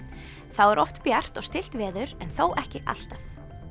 þá er oft bjart og stillt veður en þó ekki alltaf